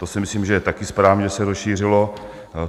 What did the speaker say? To si myslím, že je taky správně, že se rozšířilo.